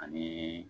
Anii